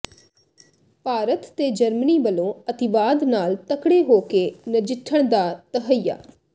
ਭਾਰਤ ਤੇ ਜਰਮਨੀ ਵੱਲੋਂ ਅਤਿਵਾਦ ਨਾਲ ਤਕੜੇ ਹੋ ਕੇ ਨਜਿੱਠਣ ਦਾ ਤਹੱਈਆ